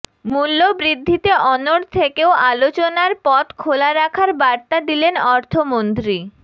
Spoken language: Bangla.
মূল্যবৃদ্ধিতে অনড় থেকেও আলোচনার পথ খোলা রাখার বার্তা দিলেন অর্থমন্ত্রী